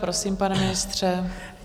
Prosím, pane ministře.